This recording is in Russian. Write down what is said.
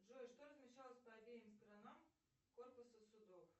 джой что размещалось по обеим сторонам корпуса судов